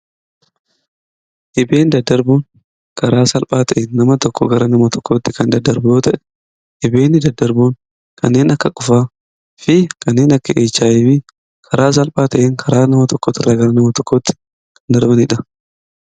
Dhibee daddarboon karaa salphaa ta'een nama tokko irraa gara nama birootti kan daddarbu yoo ta'u dhibeen akka qufaa fi HIV kara salphaa ta'een karaa nama tokko irraa gara nama biraatti daddarbanidha.